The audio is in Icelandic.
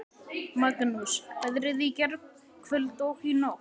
Magnús: Veðrið í gærkvöld og í nótt?